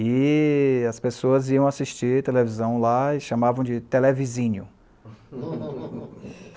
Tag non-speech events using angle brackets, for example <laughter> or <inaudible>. E as pessoas iam assistir televisão lá e chamavam de televizinho. <laughs>